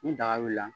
Ni daga wulila la